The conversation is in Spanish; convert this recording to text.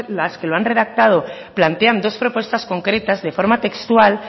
las que lo han redactado plantean dos propuestas concretas de forma textual